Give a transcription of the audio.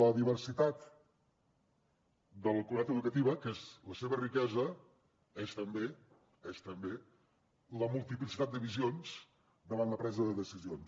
la diversitat de la comunitat educativa que és la seva riquesa és també és també la multiplicitat de visions davant la presa de decisions